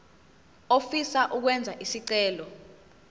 ofisa ukwenza isicelo